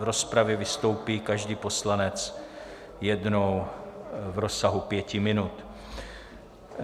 V rozpravě vystoupí každý poslanec jednou v rozsahu pěti minut.